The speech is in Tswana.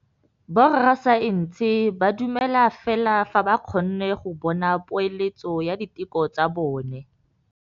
Borra saense ba dumela fela fa ba kgonne go bona poeletsô ya diteko tsa bone.